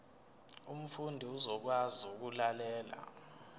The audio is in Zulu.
umfundi uzokwazi ukulalela